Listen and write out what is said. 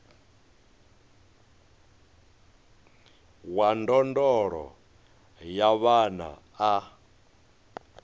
wa ndondolo ya vhana a